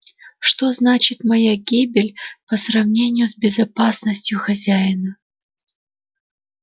что значит моя гибель по сравнению с безопасностью хозяина